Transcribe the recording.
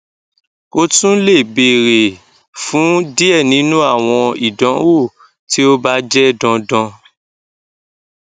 o tun le beere fun diẹ ninu awọn idanwo ti o ba jẹ dandan